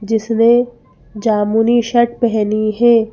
जिसने जामुनी शर्ट पहनी है।